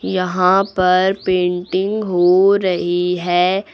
यहां पर पेंटिंग हो रही है।